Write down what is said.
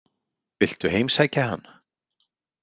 Viltu heimsækja hann?